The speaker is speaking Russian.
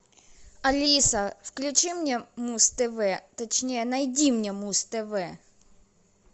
алиса включи мне муз тв точнее найди мне муз тв